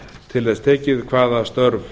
til þess tekið hvaða störf